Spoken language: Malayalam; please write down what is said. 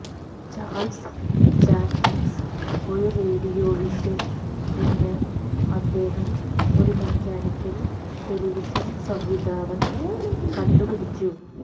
ചാൾസ് ജാൻകിൻസ് ഒരു റേഡിയോവിഷൻ എന്ന് അദ്ദേഹം ഒരു മെക്കാനിക്കൽ ടെലിവിഷൻ സംവിധാനം കണ്ടുപിടിച്ചു